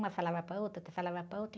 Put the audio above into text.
Uma falava para outra, que falava para outra.